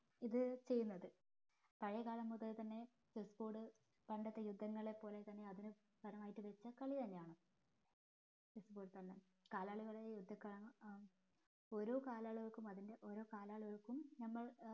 ഇത് ചെയ്യുന്നത് പഴേ കാലം മുതൽ തന്നെ chessboard പണ്ടത്തെ യുദ്ധങ്ങളെ പോലെ തന്നെ അതിനെ താരമായിട്ട് യുദ്ധകളി തന്നെയാണ് chessboard കാലാളികളെ യുദ്ധക്കളം ഏർ ഓരോ കലാളികൾക്കും അതിൻ്റെ ഓരോ കാലാളികൾക്കും നമ്മള്